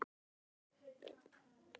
Hanna og Þórir í Bæ.